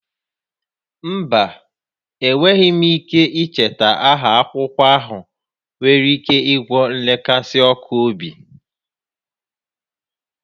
Mba, enweghị m ike icheta aha akwụkwọ ahụ nwere ike ịgwọ nrekasi ọkụ obi